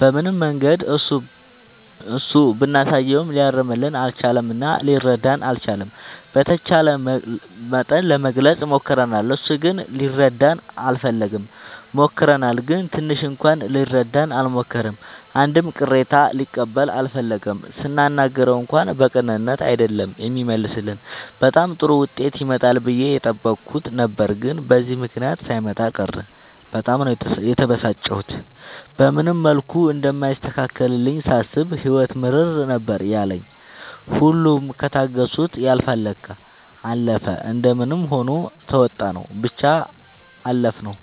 በምንም መንገድ እሱ ብናሳየውም ሊያርምልን አልቻለም እና ሊረዳንም አልቻለም። በተቻለ መጠን ለመግለፅ ሞክርናል እሱ ግን ሊረዳን አልፈለገም። ሞክረናል ግን ትንሽ እንኳን ሊረዳን አልሞከረም አንድም ቅሬታ ሊቀበል አልፈለገም ስናናግረው እንኳን በቅንነት አይደለም የሚመልስልን በጣም ጥሩ ዉጤት ይመጣል ብዬ የጠበኩት ነበር ግን በዚህ ምክንያት ሳይመጣ ቀረ በጣም ነው የተበሳጨሁት። በምንም መልኩ እንደማይስተካከልልኝ ሳስብ ህይወት ምርር ነበር ያለኝ ሁሉም ከታገሱት ያልፍል ለካ። አለፈ እንደምንም ሆኖ ተዉጣንው ብቻ አለፍነው።